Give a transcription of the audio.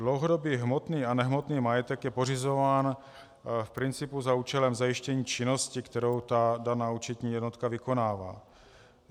Dlouhodobý hmotný a nehmotný majetek je pořizován v principu za účelem zajištění činnosti, kterou ta daná účetní jednotka vykonává.